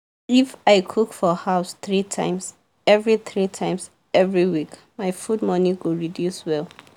if i cook for house three times every three times every week my food money go reduce well.